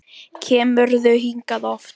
Kemurðu hingað oft?